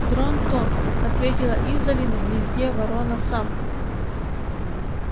дрон-тон ответила издали на гнезде ворона самка